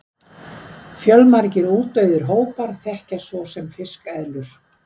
fjölmargir útdauðir hópar þekkjast svo sem fiskeðlur